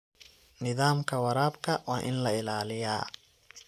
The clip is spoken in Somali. Nidaamka waraabka waa in la ilaaliyaa.